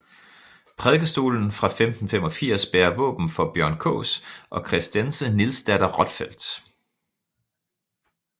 Prædikestolen fra 1585 bærer våben for Bjørn Kaas og Christence Nielsdatter Rotfeld